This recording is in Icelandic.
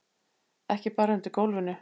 Ekki bara undir gólfinu.